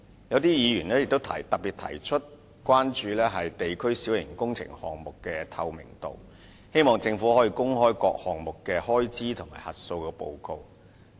有議員特別關注到推行地區小型工程項目的透明度，希望政府可公開各項目的開支及核數報告。